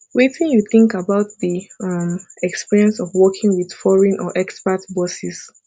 wetin you think about di um experience of working with foreign or expat bosses